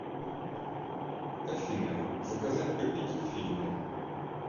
афина заказать попить к фильму